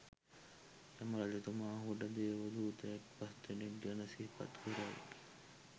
යම රජතුමා ඔහුට දේවදූතයන් පස්දෙනෙක් ගැන සිහිපත් කරයි.